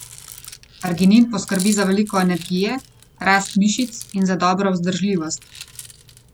Arginin poskrbi za veliko energije, rast mišic in za dobro vzdržljivost.